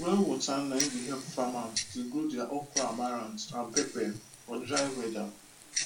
well water nai dey help farmers dey grow their okroamaranth and pepper for dry weather